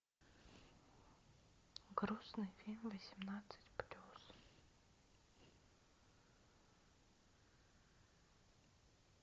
грустный фильм восемнадцать плюс